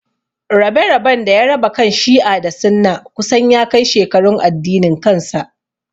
Rabe-raben da ya raba kan Shi'a da Sunna kusan ya kai shekarun addinin kansa.